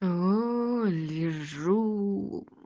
лежу